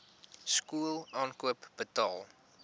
skool aankoop betaal